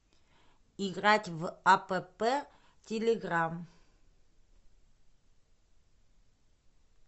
играть в апп телеграмм